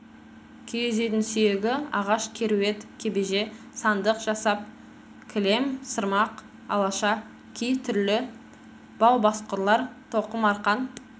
киіз үйдің сүйегі ағаш керует кебеже сандық жасап кілем сырмақ алаша ши түрлі бау-басқұрлар тоқым арқан